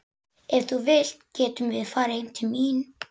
Ef þú vilt getum við farið heim til mín.